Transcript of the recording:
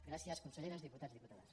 gràcies conselleres diputats diputades